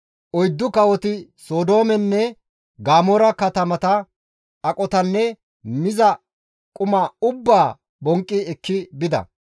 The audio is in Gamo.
Oyddu kawoti Sodoomenne Gamoora katamata aqotanne miza kath ubbaa bonqqi ekki bida.